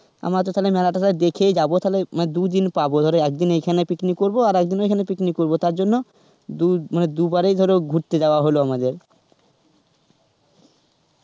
আমরা তো তাহলে মেলা টোল দেখেই যাবো তাহলে দুদিন পাব তাহলে এক দিন এখানে picnic করবো আর একদিন ওইখানে picnic করব তার জন্য ধরো দু মানে দুবারই ধরো ঘুরতে যাওয়া হল আমাদের.